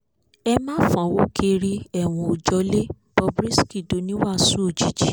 ẹ má fọ́nwó kiri ọ̀ẹ́wọ̀n ó jọ̀lẹ̀ bob risky dòní wàásù òjijì